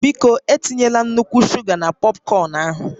Biko, etinyela nnukwu shuga na pọpkọn ahụ